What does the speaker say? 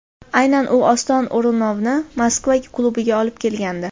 Aynan u Oston O‘runovni Moskva klubiga olib kelgandi.